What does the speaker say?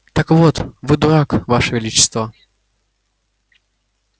так вот вы дурак ваше величество